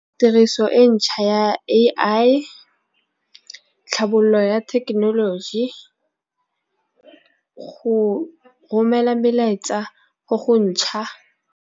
Tiriso e ntšha ya A_I tlhabololo ya thekenoloji go romela melaetsa go go ntšha.